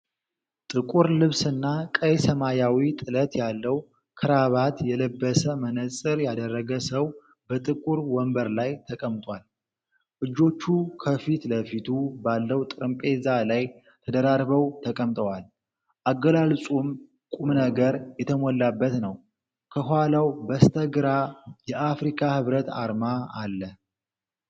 ጥቁር ልብስና ቀይ ሰማያዊ ጥለት ያለው ክራባት የለበሰ መነጽር ያደረገ ሰው በጥቁር ወንበር ላይ ተቀምጧል። እጆቹ ከፊት ለፊቱ ባለው ጠረጴዛ ላይ ተደራርበው ተቀምጠዋል፤ አገላለጹም ቁምነገር የተሞላበት ነው። ከኋላው በስተግራ የአፍሪካ ሕብረት አርማ አለ።